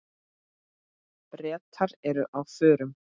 Bretar eru á förum.